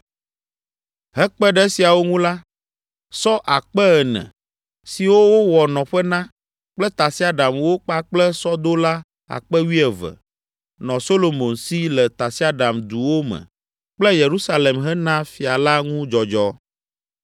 Hekpe ɖe esiawo ŋu la, sɔ akpe (4,000) ene, siwo wowɔ nɔƒe na, kple tasiaɖamwo kpakple sɔdola akpe wuieve (12,000) nɔ Solomon si le tasiaɖamduwo me kple Yerusalem hena fia la ŋu dzɔdzɔ.